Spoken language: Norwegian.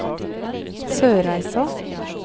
Sørreisa